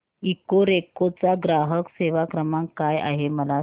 Ecoreco चा ग्राहक सेवा क्रमांक काय आहे मला सांग